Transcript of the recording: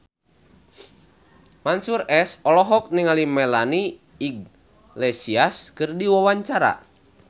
Mansyur S olohok ningali Melanie Iglesias keur diwawancara